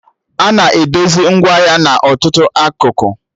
Ana edozi ngwaahịa n'ọtụtụ akụkụ